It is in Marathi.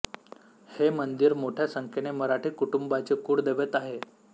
हे मंदिर मोठ्या संख्येने मराठी कुटुंबांचे कुळदैवत आहे